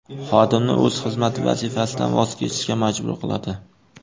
Xodimni o‘z xizmat vazifasidan voz kechishga majbur qiladi.